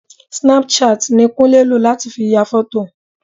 Snapchat ni Kúnlé lò láti ya fọ́tò